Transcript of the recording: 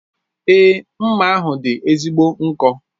Èé, mma ahụ dị ezigbo nkọ.